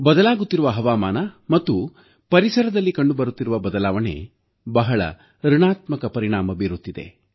ಬದಲಾಗುತ್ತಿರುವ ಹವಾಮಾನ ಮತ್ತು ಪರಿಸರದಲ್ಲಿ ಕಂಡುಬರುತ್ತಿರುವ ಬದಲಾವಣೆ ಬಹಳ ಋಣಾತ್ಮಕ ಪರಿಣಾಮ ಬೀರುತ್ತಿದೆ